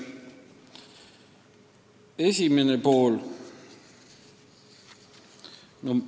Kõigepealt esimene küsimus.